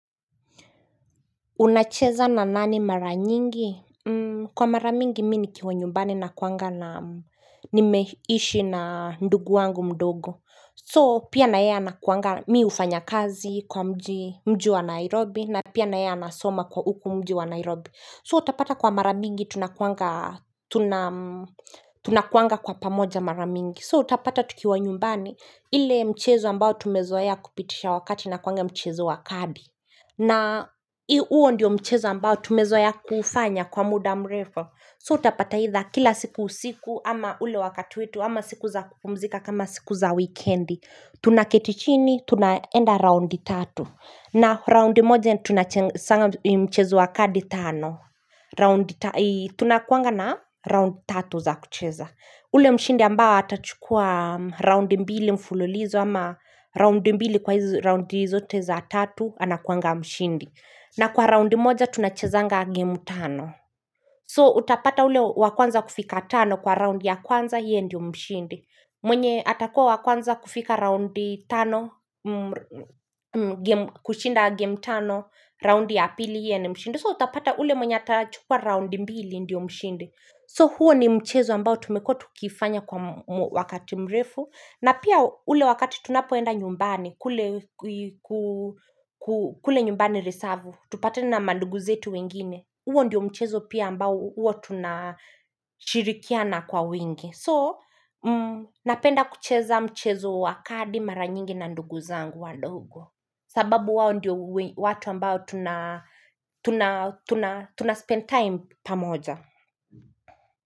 Unacheza na nani mara nyingi? Kwa mara mingi mi nikiwa nyumbani nakuwanga na nimeishi na ndugu wangu mdogo. So pia na ye anakuanga mi hufanya kazi kwa mji wa Nairobi na pia naye anasoma kwa huku mji wa Nairobi. So utapata kwa mara mingi tunakuanga kwa pamoja mara mingi. So utapata tukiwa nyumbani ile mchezo ambao tumezoea kupitisha wakati unakuanga mchezo wa kadi. Na huo ndio mchezo ambao tumezoea kuufanya kwa muda mrefu So utapata aidha kila siku usiku ama ule wakati wetu ama siku za kupumzika kama siku za weekendi Tunaketi chini tunaenda raundi tatu na raundi moja tunachengezana mchezo wa kadi tano raundi tunakuanga na roundi tatu za kucheza ule mshindi ambao atachukua raundi mbili mfululizo ama Raundi mbili kwa hizi raundi zote za tatu Anakuanga mshindi na kwa raundi moja tunachezanga game tano So utapata ule wa kwanza kufika tano Kwa raundi ya kwanza yeye ndio mshindi mwenye atakuwa wa kwanza kufika raundi tano kushinda game tano Raundi ya pili yeye ndio mshindi So utapata ule mwenye atachukua raundi mbili ndio mshindi So huo ni mchezo ambao tumekuwa tukiifanya kwa wakati mrefu na pia ule wakati tunapoenda nyumbani, kule nyumbani risavu, tupatane na mandugu zetu wengine, huo ndio mchezo pia ambao huwa tunashirikiana kwa wingi. So, napenda kucheza mchezo wa kadi mara nyingi na ndugu zangu wadogo. Sababu wao ndio watu ambao tunaspend time pamoja.